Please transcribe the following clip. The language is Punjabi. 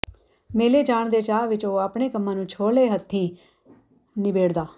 ਮੇਲੇ ਜਾਣ ਦੇ ਚਾਅ ਵਿਚ ਉਹ ਆਪਣੇ ਕੰਮਾਂ ਨੂੰ ਛੋਹਲੇ ਹੱਥੀਂ ਨਿਬੇੜਦਾ